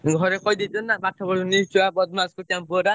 ଘରେ କହିଦେଇଛନ୍ତି ନା ପାଠ ପଢୁନି ଛୁଆ ବଦମାସ କରୁଚି ଆମ ପୁଅଟା।